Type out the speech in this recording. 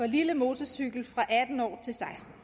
lille motorcykel fra atten år til seksten